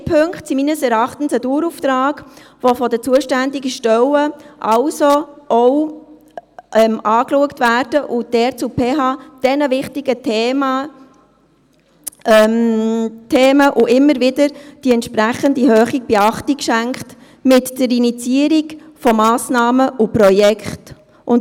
Beide Punkte sind meines Erachtens ein Dauerauftrag, welcher von der zuständigen Stelle auch angeschaut werden soll, wobei die PH diesen wichtigen Themen immer wieder entsprechend hohe Beachtung schenken wird, mit der Initiierung von Massnahmen und Projekten.